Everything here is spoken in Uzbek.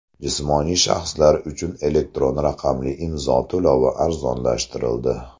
Jismoniy shaxslar uchun elektron raqamli imzo to‘lovi arzonlashtirildi.